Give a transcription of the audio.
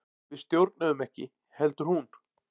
Við stjórnuðum ekki heldur hún.